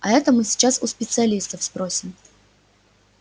а это мы сейчас у специалистов спросим